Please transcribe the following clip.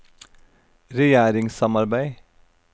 regjeringssamarbeid